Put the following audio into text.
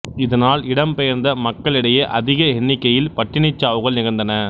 இதனால் இடம் பெயர்ந்த மக்களிடையே அதிக எண்ணிக்கையில் பட்டினிச் சாவுகள் நிகழ்ந்தன